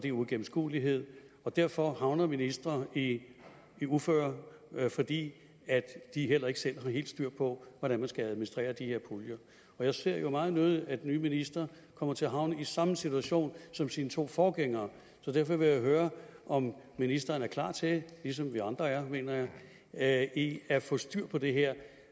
er uigennemskuelighed derfor havner ministre i uføre fordi de heller ikke selv har helt styr på hvordan man skal administrere de her puljer jeg ser jo meget nødig at den nye minister kommer til at havne i samme situation som sine to forgængere så derfor vil jeg høre om ministeren er klar til ligesom vi andre er mener jeg at at få styr på det her